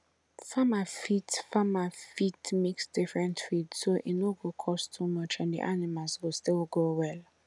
farmer fit farmer fit mix different feed so e no go cost too much and the animals go still grow well